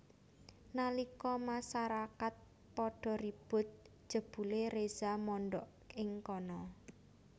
Nalika masarakat padha ribut jebulé Reza mondhok ing kana